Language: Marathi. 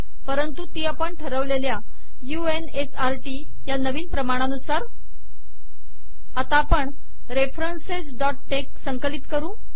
परंतु ती आपण ठरवलेल्या u n s r TT या नवीन प्रमाणानुसार आता आपण referencesटेक्स संकलित करू